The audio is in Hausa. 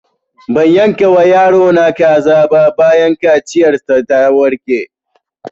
Ban yanka wa yaro na kaza ba bayan kaciyar sa ta warke